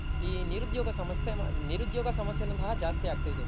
ಈ ನಿರುದ್ಯೋಗ ನಿರುದ್ಯೋಗ ಸಮಸ್ಯೆ ನು ಸಹ ಜಾಸ್ತಿ ಆಗ್ತ ಇದೆ.